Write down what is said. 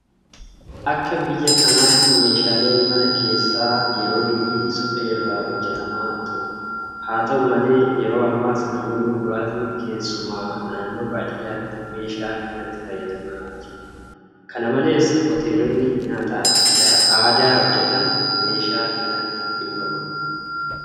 Akka biyya kanaatti meeshaaleen mana keessaa yeroo durii suphee irraa hojjetamaa ture. Haa ta'u malee yeroo ammaas namoonni muraasni keessumaa naannoo baadiyyaatti meeshaa kanatti fayyadamaa jiru. Kana malees hoteelonni nyaata aadaa hojjetan meeshaa kanatti dhimma bahu.